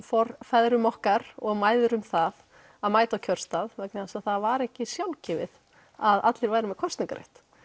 feðrum okkar og mæðrum það að mæta á kjörstað vegna þess að það var ekki sjálfgefið að allir væru með kosningarétt